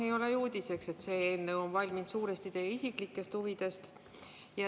Ei ole ju uudiseks, et see eelnõu on valminud suuresti teie isiklike huvide tõttu.